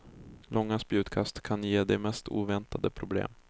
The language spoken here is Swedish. Långa spjutkast kan ge de mest oväntade problem.